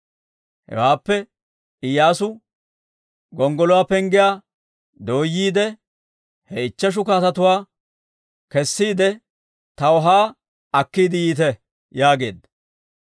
Hewaappe Iyyaasu, «Gonggoluwaa penggiyaa dooyyiide, he ichcheshu kaatetuwaa kessiide, taw haa akkiide yiite» yaageedda.